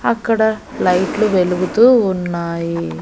అక్కడ లైట్లు వెలుగుతూ ఉన్నాయి.